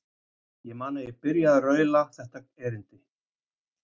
Ég man að ég byrjaði á að raula þetta erindi